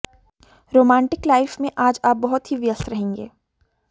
romantic life में आज आप बहुत ही व्यस्त रहेंगे